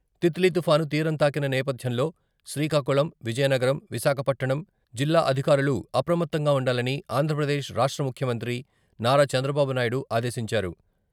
తిత్లీ తుఫాను తీరం తాకిన నేపథ్యంలో శ్రీకాకుళం, విజయనగరం, విశాఖపట్టణం జిల్లా అధికారులు అప్రమత్తంగా ఉండాలని ఆంధ్రప్రదేశ్ రాష్ట్ర ముఖ్యంత్రి నారా చంద్రబాబు నాయుడు ఆదేశించారు.